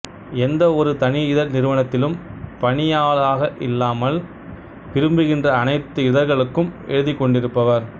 எந்த ஒரு தனி இதழ் நிறுவனத்திலும் பணியாளாக இல்லாமல் விரும்புகின்ற அனைத்து இதழ்களுக்கும் எழுதிக் கொண்டிருப்பவர்